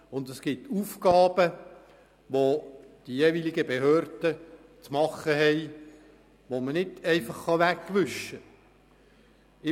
Und es gibt Aufgaben, die die jeweiligen Behörden wahrzunehmen haben und die nicht einfach weggewischt werden können.